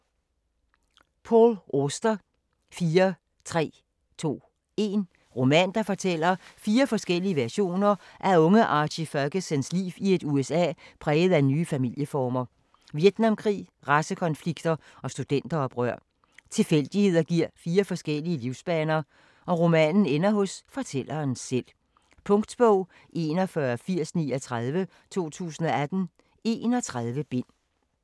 Auster, Paul: 4 3 2 1 Roman, der fortæller fire forskellige versioner af unge Archie Fergusons liv i et USA præget af nye familieformer, Vietnamkrig, racekonflikter og studenteroprør. Tilfældigheder giver fire forskellige livsbaner, og romanen ender hos fortælleren selv. Punktbog 418039 2018. 31 bind.